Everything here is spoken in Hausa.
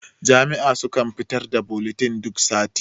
jami'a sukan fitar da bulitin duk sati